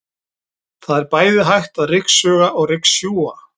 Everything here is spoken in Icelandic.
Það er bæði hægt að ryksuga og ryksjúga.